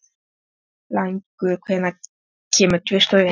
Blængur, hvenær kemur tvisturinn?